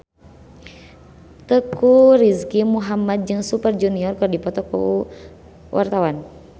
Teuku Rizky Muhammad jeung Super Junior keur dipoto ku wartawan